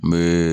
N bɛ